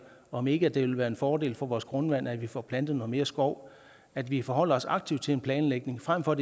om ikke det ville være en fordel for vores grundvand at vi får plantet noget mere skov at vi forholder os aktivt til en planlægning frem for